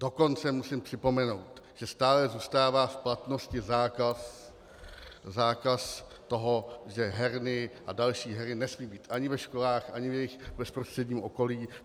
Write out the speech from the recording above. Dokonce musím připomenout, že stále zůstává v platnosti zákaz toho, že herny a další hry nesmí být ani ve školách ani v jejich bezprostředním okolí.